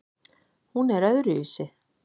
Hún er öðruvísi.